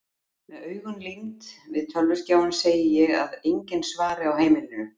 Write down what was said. Með augun límd við tölvuskjáinn segi ég að enginn svari á heimilinu.